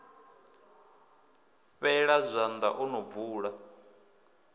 fheṱa zwanḓa o no bvula